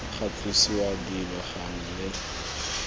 ga tlosiwa dilo gangwe le